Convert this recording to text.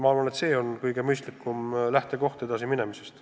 Arvan, et see on kõige mõistlikum lähtekoht edasi minemiseks.